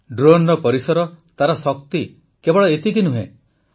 ଡ୍ରୋନର ପରିସର ତାର ଶକ୍ତି କେବଳ ଏତିକି ନୁହେଁ